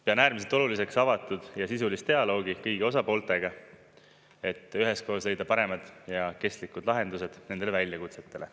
Pean äärmiselt oluliseks avatud ja sisulist dialoogi kõigi osapooltega, et üheskoos leida paremad ja kestlikud lahendused nendele väljakutsetele.